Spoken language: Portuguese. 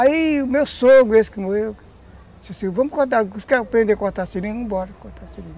Aí o meu sogro, esse que morreu, disse assim, vamos cortar, os que querem aprender a cortar seringa, vamos embora, cortar seringa.